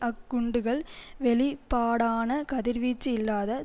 அக் குண்டுகள் வெளிப்பாடான கதிர்வீச்சு இல்லாத